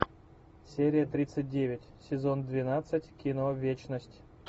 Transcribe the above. серия тридцать девять сезон двенадцать кино вечность